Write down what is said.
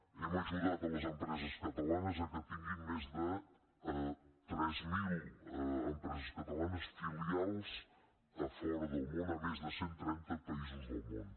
hem ajudat les empreses catalanes que tinguin més de tres mil empreses catalanes filials a fora del món a més de cent trenta països del món